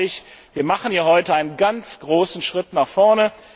Darum glaube ich, wir machen hier heute einen ganz großen Schritt nach vorne.